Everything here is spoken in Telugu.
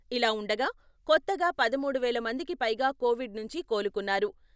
ఇలా ఉండగా కొత్తగా పదమూడు వేల మందికి పైగా కోవిడ్ నుంచి కోలుకున్నారు.